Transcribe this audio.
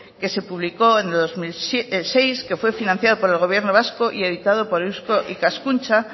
que se publicó en el dos mil seis que fue financiado por el gobierno vasco y editado por eusko ikaskuntza